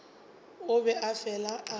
o be a fele a